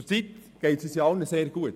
Zurzeit geht es uns allen sehr gut.